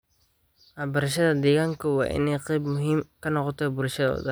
Waxbarashada deegaanka waa in ay qayb muhiim ah ka noqotaa bulshada oo dhan.